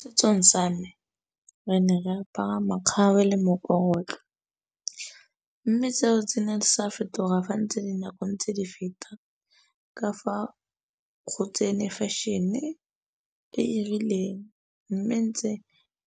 Setsong sa me re ne re apara makgabe le mme seo se ne sa fetoga fa ntse dinako ntse di feta. Ka fa go tsene fashion-e e e rileng mme tse